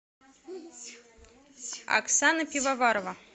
оксана пивоварова